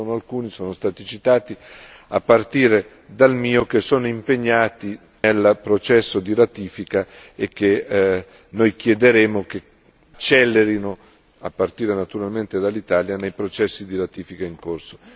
Ce ne sono alcuni sono stati citati, a partire dal mio che sono ancora impegnati nel processo di ratifica e a cui noi chiederemo che accelerino a partire naturalmente dall'Italia i processi di ratifica in corso.